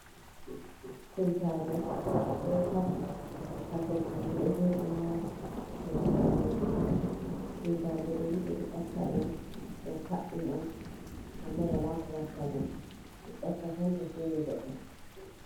Kuwitaje ɗo kassi, kasemaje do joɗi ha leppol ɓalewol kuwitaje ɗoni ɓeɗo ƴakka ɗe on ɗum kadɗum on, amma wala ko watta bo toɗo ƴakka tan to suuni goɗɗo.